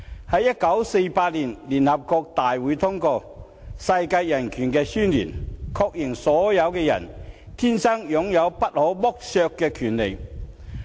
在1948年，聯合國大會通過《世界人權宣言》，確認所有人天生擁有不可剝削的權利。